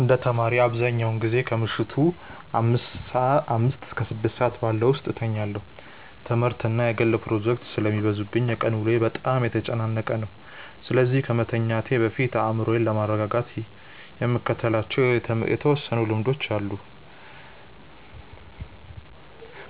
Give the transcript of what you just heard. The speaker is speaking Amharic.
እንደ ተማሪ፣ አብዛኛውን ጊዜ ከምሽቱ አምስት እስከ ስድስት ባለው ሰዓት ውስጥ እተኛለሁ። ትምህርትና የግል ፕሮጀክቶች ስለሚበዙብኝ የቀን ውሎዬ በጣም የተጨናነቀ ነው፤ ስለዚህ ከመተኛቴ በፊት አእምሮዬን ለማረጋጋት የምከተላቸው የተወሰኑ ልምዶች አሉኝ።